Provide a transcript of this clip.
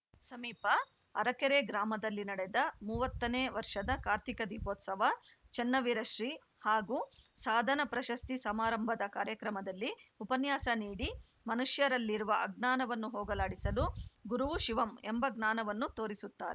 ಸಮೀಪ ಅರಕೆರೆ ಗ್ರಾಮದಲ್ಲಿ ನಡೆದ ಮೂವತ್ತನೇ ವರ್ಷದ ಕಾರ್ತಿಕ ದೀಪೋತ್ಸವ ಚನ್ನವೀರ ಶ್ರೀ ಹಾಗೂ ಸಾಧನ ಪ್ರಶಸ್ತಿ ಸಮಾರಂಭದ ಕಾರ್ಯಕ್ರಮದಲ್ಲಿ ಉಪನ್ಯಾಸ ನೀಡಿ ಮನುಷ್ಯರಲ್ಲಿರುವ ಅಜ್ಞಾನವನ್ನು ಹೋಗಲಾಡಿಸಲು ಗುರುವು ಶಿವಂ ಎಂಬ ಜ್ಞಾನವನ್ನು ತೋರಿಸುತ್ತಾರೆ